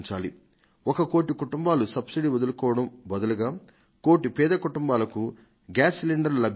ఒక కోటి కుటుంబాలు సబ్సిడీని వదులుకొన్నందుకు బదులుగా మరొక కోటి పేద కుటుంబాలకు గ్యాస్ సిలిండర్లు లభించడం